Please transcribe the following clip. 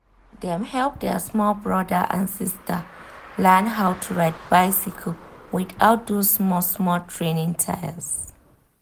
dem help their small brother/sister learn how to ride bicycle without those small-small training tyres.